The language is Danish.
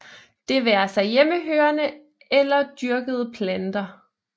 Det være sig hjemmehørende eller dyrkede planter